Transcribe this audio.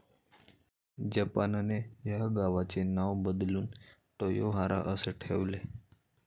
जपानने ह्या गावाचे नाव बदलून टोयोहारा असे ठेवले.